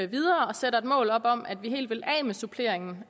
videre og sætter et mål op om at vi helt vil af med suppleringen